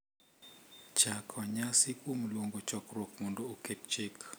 chako nyasi kuom luongo chokruok mondo oket chik.